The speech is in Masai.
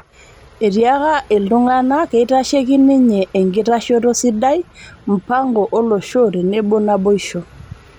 Etiaaka iltung'ana keitasheki ninye enkitashoto sidai, mpango olosho tenebo naboisho